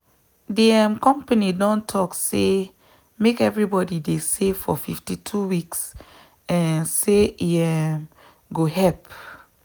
the um company don talk say make everybody dey save for 52weeks um say e um go help.